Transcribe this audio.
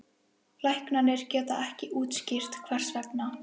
Læknarnir geta ekki útskýrt hvers vegna.